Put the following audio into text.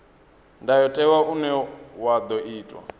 ndayotewa une wa ḓo itwa